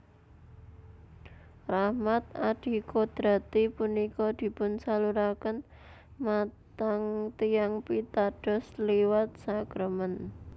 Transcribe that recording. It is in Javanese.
Rahmat adikodrati punika dipunsaluraken matang tiyang pitados liwat sakramèn